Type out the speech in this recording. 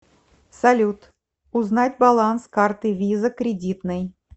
салют узнать баланс карты виза кредитной